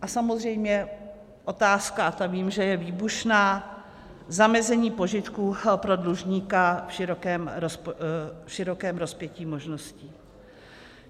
A samozřejmě otázka, a vím, že ta je výbušná, zamezení požitků pro dlužníka v širokém rozpětí možností.